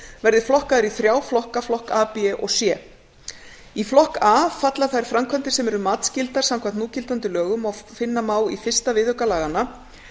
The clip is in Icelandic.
verði flokkaðar í þrjá flokka flokk a b og c í flokk a falla þær framkvæmdir sem eru matsskyldar samkvæmt núgildandi lögum og finna má í fyrsta viðauka laganna